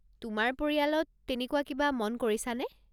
তোমাৰ পৰিয়ালত তেনেকুৱা কিবা মন কৰিছানে ?